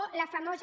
o la famosa